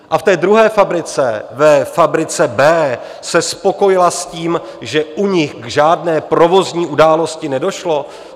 A v té druhé fabrice, ve fabrice B, se spokojila s tím, že u nich k žádné provozní události nedošlo?